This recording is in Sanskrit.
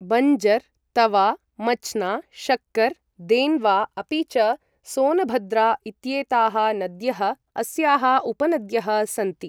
बञ्जर्, तवा, मच्ना, शक्कर्, देन्वा अपि च सोनभद्रा इत्येताः नद्यः अस्याः उपनद्यः सन्ति।